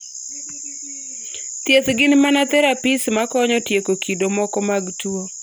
thieth gin mana therapies makonyo tieko kido moko mag tuwo